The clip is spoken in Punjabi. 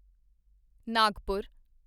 ਨਾਗਪੁਰ